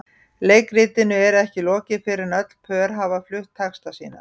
Leikritinu er ekki lokið fyrr en öll pör hafa flutt texta sína.